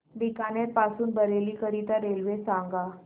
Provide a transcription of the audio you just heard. बीकानेर पासून बरेली करीता रेल्वे सांगा